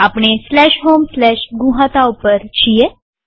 આપણે homegnuhata ઉપર છીએ